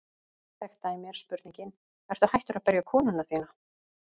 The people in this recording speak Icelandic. Þekkt dæmi er spurningin: Ertu hættur að berja konuna þína?